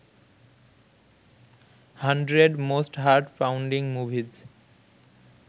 hundred most heart pounding movies